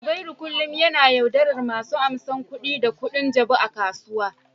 Zubairu kullum yana yaudarar masu amsan kuɗi da kuɗin jabu a kasuwa.